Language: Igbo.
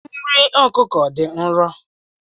Nri ọkụkọ dị nro.